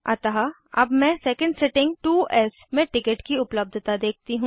अतः अब मैं सेकंड सिटिंग 2 एस में टिकट की उपलब्धता देखती हूँ